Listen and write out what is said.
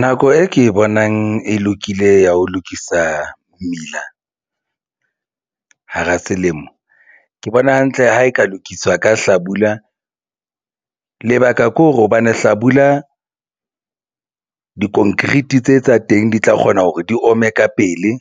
Nako e ke bonang e lokile ya ho lokisa mmila hara selemo ke bona hantle ha e ka lokiswa ka hlabula. Lebaka ke hore hobane hlabula di-concrete tse tsa teng di tla kgona hore di ome ka pele